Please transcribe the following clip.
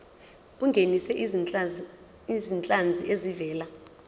ungenise izinhlanzi ezivela